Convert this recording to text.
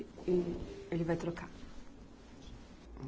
Ele vai trocar.